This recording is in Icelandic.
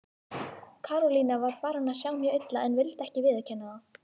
Karólína var farin að sjá mjög illa en vildi ekki viðurkenna það.